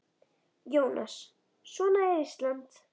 Jónas: Svona er Ísland?